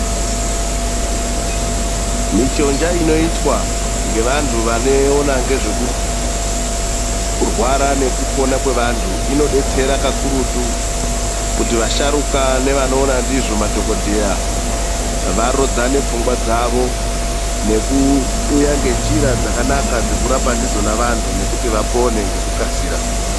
Michonja inoitwa ngevantu vanoona ngezvekurwara nekupona kwevantu ,inodetsera kakurutu kuti vasharuka nevanoona ndizvo madhokodheya varodzane pfungwa dzavo. Nekuuya ngenjira dzakanaka dzekurapa ndidzona vantu nokuti vapone ngekukasira.